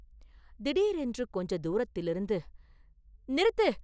திடீரென்று கொஞ்ச தூரத்திலிருந்து, “நிறுத்து!